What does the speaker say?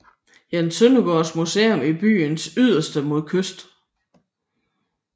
Jens Søndergaards Museum i byen yderst mod kysten